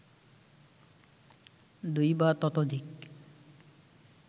দুই বা ততোধিক